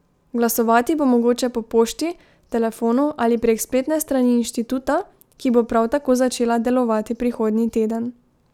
Glasovati bo mogoče po pošti, telefonu ali prek spletne strani inštituta, ki bo prav tako začela delovati prihodnji teden.